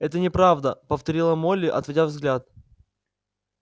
это неправда повторила молли отводя взгляд